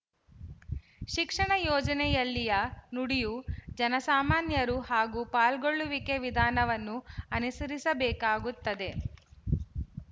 ಶಿಕ್ಷಣ ಯೋಜನೆಯಲ್ಲಿಯ ನುಡಿಯು ಜನಸಾಮಾನ್ಯರು ಹಾಗೂ ಪಾಲ್ಗೊಳ್ಳುವಿಕೆ ವಿಧಾನವನ್ನು ಅನುಸರಿಸಬೇಕಾಗುತ್ತದೆ